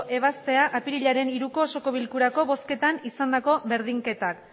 ebaztea apirilaren hiruko osoko bilkurako bozketan izandako berdinketak